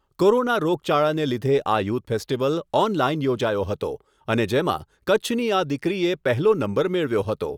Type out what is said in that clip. corona રોગચાળાને લીધે આ યુથ ફેસ્ટિવલ ઓનલાઇન યોજાયો હતો અને જેમાં કચ્છની આ દીકરીએ પહેલો નંબર મેળવ્યો હતો